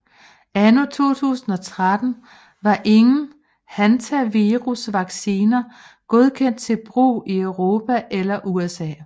Anno 2013 var ingen hantavirusvacciner godkendte til brug i Europa eller USA